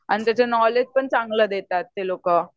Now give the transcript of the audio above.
आणि त्याच नॉलेज पण चांगल देतात ते लोक.